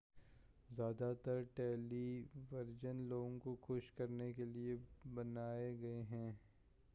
زیادہ تر television لوگوں کو خوش کرنے کیلئے بنائے گئے ہیں